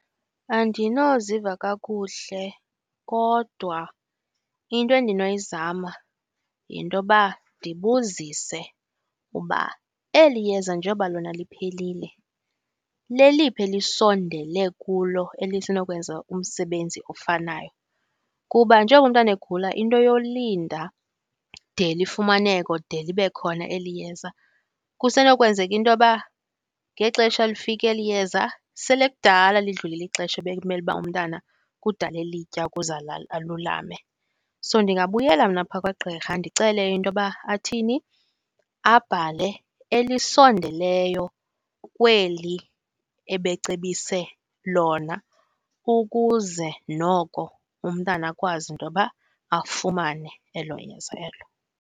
Andinoziva kakuhle, kodwa into endinoyizama yintoba ndibuzise uba eli yeza njengoba liphelile leliphi elisondele kulo elinokwenza umsebenzi ofanayo. Kuba njengoba umntana egula into yolinda de lifumaneke or de libe khona eli yeza kusenokwenzeka intoba ngexesha lifika eli yeza sele kudala lidlulile ixesha ebekumele uba umntana kudala elitya ukuze alulame. So ndingabuyela mna pha kwagqirha ndicele intoba athini, abhale elisondeleyo kweli ebecebise lona ukuze noko umntana akwazi intoba afumane elo yeza elo.